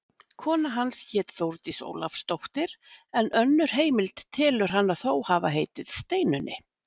Kona hans hét Þórdís Ólafsdóttir en önnur heimild telur hana þó hafa heitið Steinunni.